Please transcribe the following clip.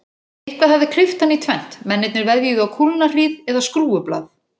Eitthvað hafði klippt hann í tvennt, mennirnir veðjuðu á kúlnahríð eða skrúfublað.